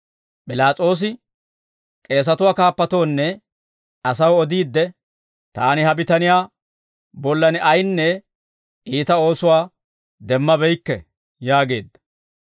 P'ilaas'oosi k'eesatuwaa kaappatoonne asaw odiidde, «Taani ha bitaniyaa bollan ayinne iita oosuwaa demmabeykke» yaageedda.